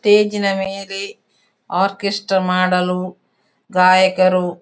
ಸ್ಟೇಜಿನ ಮೇಲೆ ಆರ್ಕೆಸ್ಟ್ರಾ ಮಾಡಲು ಗಾಯಕರು--